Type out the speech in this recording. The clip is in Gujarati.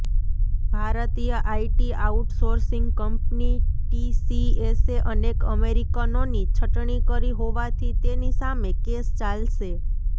ભારતીય આઇટી આઉટસોર્સિંગ કંપની ટીસીએસે અનેક અમેરિકનોની છટણી કરી હોવાથી તેની સામે કેસ ચાલશે